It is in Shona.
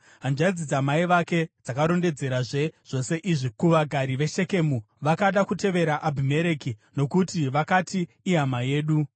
Hanzvadzi dzamai vake dzakarondedzerazve zvose izvi kuvagari veShekemu, vakada kutevera Abhimereki, nokuti vakati, “Ihama yedu.”